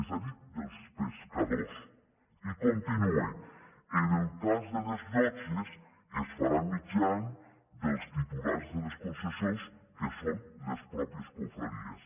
és a dir dels pescadors i continua en el cas de les llotges es farà mitjançant els titulars de les concessions que són les pròpies confraries